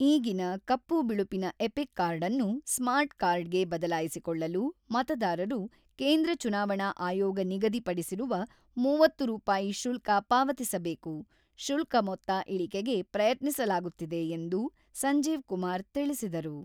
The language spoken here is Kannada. ಈಗಿನ ಕಪ್ಪು-ಬಿಳುಪಿನ ಎಪಿಕ್ ಕಾರ್ಡ್ ಅನ್ನು ಸ್ಮಾರ್ಟ್ ಕಾರ್ಡ್‌ಗೆ ಬದಲಾಯಿಸಿಕೊಳ್ಳಲು ಮತದಾರರು, ಕೇಂದ್ರ ಚುನಾವಣಾ ಆಯೋಗ ನಿಗದಿ ಪಡಿಸಿರುವ ಮೂವತ್ತು ರೂಪಾಯಿ ಶುಲ್ಕ ಪಾವತಿಸಬೇಕು, ಶುಲ್ಕ ಮೊತ್ತ ಇಳಿಕೆಗೆ ಪ್ರಯತ್ನಿಸಲಾಗುತ್ತಿದೆ ಎಂದು ಸಂಜೀವ್ ಕುಮಾರ್ ತಿಳಿಸಿದರು.